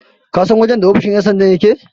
kasan wajen ofoshin yansandan yake?